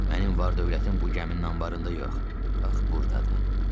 Mənim var-dövlətim bu gəminin anbarında yox, bax burdadır.